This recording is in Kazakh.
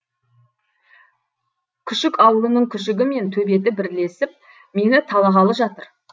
күшік ауылының күшігі мен төбеті бірлесіп мені талағалы жатыр